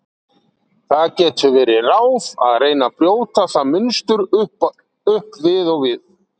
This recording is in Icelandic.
Það getur verið ráð að reyna að brjóta það munstur upp við og við.